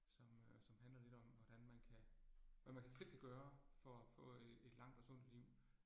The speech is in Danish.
Som øh som handler lidt om, hvordan man kan, hvad man kan selv kan gøre for at få et et langt og sundt liv